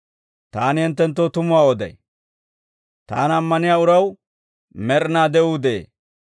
«Taani hinttenttoo tumuwaa oday; taana ammaniyaa uraw med'inaa de'uu de'ee.